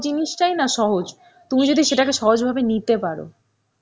জিনিসটাই না সহজ. তুমি যদি সেটাকে সহজ ভাবে নিতে পারো.